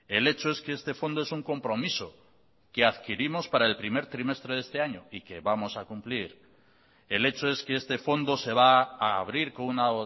el hecho es que este fondo es un compromiso que adquirimos para el primer trimestre de este año y que vamos a cumplir el hecho es que este fondo se va a abrir con una